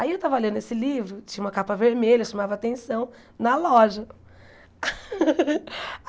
Aí eu tava lendo esse livro, tinha uma capa vermelha, chamava atenção, na loja.